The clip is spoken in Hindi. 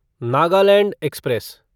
नागालैंड एक्सप्रेस